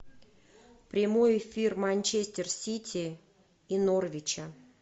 прямой эфир манчестер сити и норвича